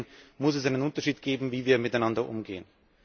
Deswegen muss es einen Unterschied geben, wie wir miteinander umgehen.